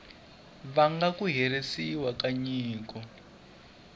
vanga ku herisiwa ka nyiko